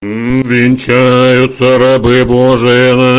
венчаются рабы божии на